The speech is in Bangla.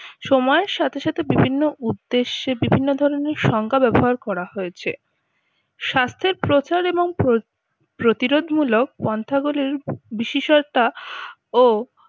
সময়ের সাথে সাথে বিভিন্ন উদ্দেশে বিভিন্ন ধরনের সংজ্ঞা ব্যবহার করা হয়েছে। স্বাস্থ্যের প্রচার এবং প্রতিরোধমূলক পন্থা গুলির বিশেষতা ও